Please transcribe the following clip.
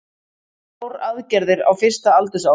Þrjár aðgerðir á fyrsta aldursári